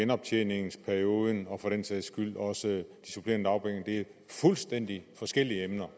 genoptjeningsperioden og for den sags skyld også de supplerende dagpenge det er fuldstændig forskellige emner